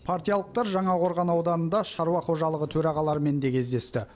партиялықтар жаңақорған ауданында шаруақожалығы төрағаларымен де кездесті